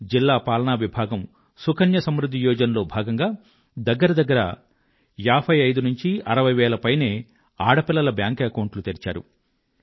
జిల్లా పాలనా విభాగం సుకన్య సమృధ్ధి యోజన లో భాగంగా దగ్గర దగ్గర 5560 వేల పైనే ఆడపిల్లల బ్యాంక్ అకౌంట్లు తెరిచారు